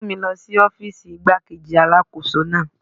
Mú mi lọ sí ọ́fíìsì igbá-kejì Alákóso náà.